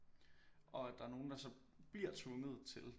Og at der er nogen der så bliver tvunget til